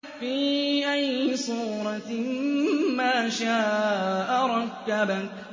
فِي أَيِّ صُورَةٍ مَّا شَاءَ رَكَّبَكَ